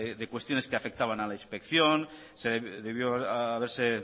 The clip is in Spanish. de cuestiones que afectaban a la inspección se debió haberse